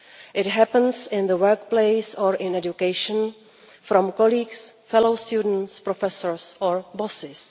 It happens in the workplace or in education from colleagues, fellow students, professors or bosses.